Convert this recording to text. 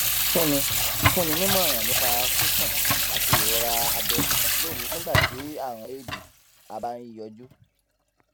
fúnni fúnni nímòràn nípa sísùn àti ìrora abẹ lóru nígbà tí àrùn éèdì a bá ń yọjú